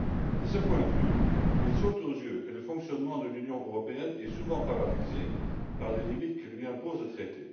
De ce point de vue, il saute aux yeux que le fonctionnement de l'Union européenne est souvent paralysé par les limites que lui impose le traité.